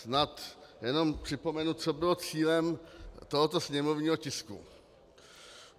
Snad jenom připomenu, co bylo cílem tohoto sněmovního tisku.